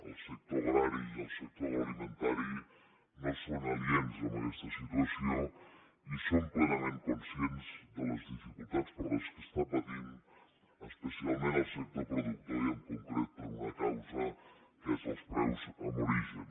el sector agrari i el sector de l’alimentari no són aliens a aquesta situació i som plenament conscients de les dificultats que estan patint especialment el sector productor i en concret per una causa que són els preus en origen